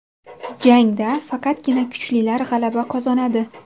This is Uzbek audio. Jangda faqatgina kuchlilar g‘alaba qozonadi.